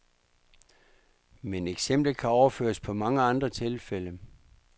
Men eksemplet kan overføres på mange andre tilfælde.